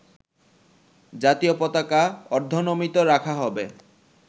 জাতীয় পতাকা অর্ধনমিত রাখা হবে